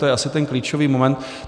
To je asi ten klíčový moment.